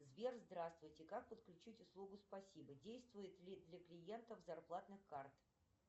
сбер здравствуйте как подключить услугу спасибо действует ли для клиентов зарплатных карт